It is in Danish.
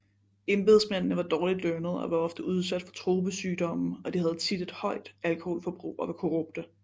Embedsmændene var dårligt lønnet og var ofte udsat for tropesygdomme og de havde tit et højt alkoholforbrug og var korrupte